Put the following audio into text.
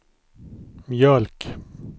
mjölk